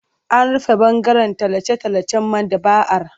An rufe ɓangaren tallace-tallacen maɗaba'ar.